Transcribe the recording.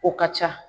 O ka ca